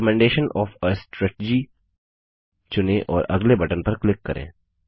recommendation of a strategy चुनें और अगले बटन पर क्लिक करें